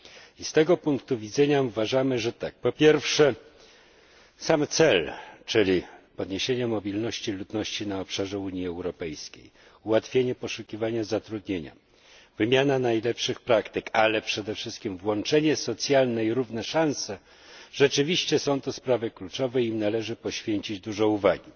I z tego punktu widzenia uważamy, że po pierwsze sam cel, czyli podniesienie mobilności ludności na obszarze Unii Europejskiej, ułatwienie poszukiwania zatrudnienia, wymiana najlepszych praktyk, ale przede wszystkim włączenie socjalne i równe szanse rzeczywiście są to sprawy kluczowe i im należy poświęcić dużo uwagi.